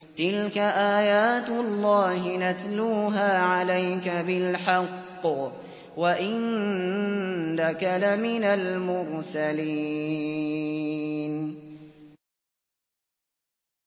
تِلْكَ آيَاتُ اللَّهِ نَتْلُوهَا عَلَيْكَ بِالْحَقِّ ۚ وَإِنَّكَ لَمِنَ الْمُرْسَلِينَ